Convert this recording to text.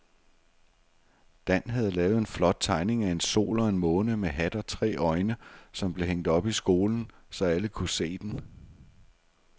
Dan havde lavet en flot tegning af en sol og en måne med hat og tre øjne, som blev hængt op i skolen, så alle kunne se den.